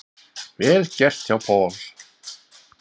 Vel gert hjá Paul.